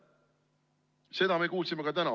Seda me kuulsime ka täna.